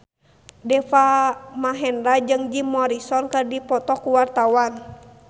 Deva Mahendra jeung Jim Morrison keur dipoto ku wartawan